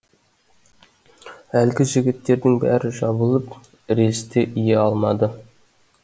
әлгі жігіттердің бәрі жабылып рельсті ие алмады